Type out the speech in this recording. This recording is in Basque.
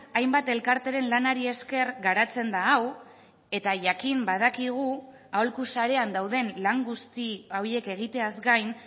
hainbat elkarteren lanari esker garatzen da hau eta jakin badakigu aholku sarean dauden lan guzti horiek egiteaz gain